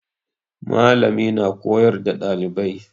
Malami na koyar da ɗalibai